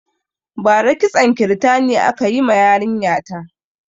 Bara kitson kirtani aka ma yarin ya ta